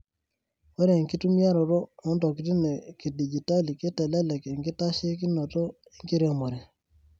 Ore enkitumiaroto ontokitin e kidigitali keitelelek enkitasheikinoto enkiremore.